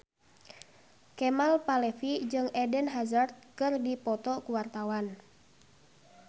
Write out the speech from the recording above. Kemal Palevi jeung Eden Hazard keur dipoto ku wartawan